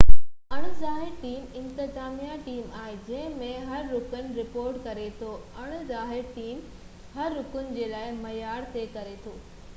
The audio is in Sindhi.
اڻ ظاهر ٽيم انتظاميہ ٽيم آهي جنهن ۾ هر رڪن رپورٽ ڪري ٿو اڻ ظاهر ٽيم هر رڪن جي لاءِ معيار طئي ڪري ٿو